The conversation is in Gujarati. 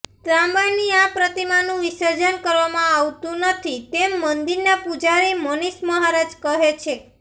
તાંબાની આ પ્રતિમાનું વિસર્જન કરવામાં આવતું નથી તેમ મંદિરના પૂજારી મનીષ મહારાજ કહે છે